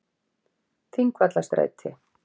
Þingvallastræti